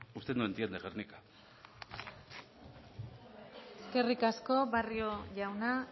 usted no entiende guernica eskerrik asko barrio jauna